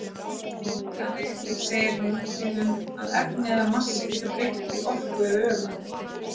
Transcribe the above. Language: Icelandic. Þannig segir hún til um að efni eða massi getur breyst í orku og öfugt.